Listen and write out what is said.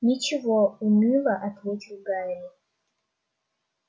ничего уныло ответил гарри